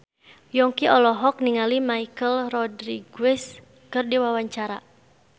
Yongki olohok ningali Michelle Rodriguez keur diwawancara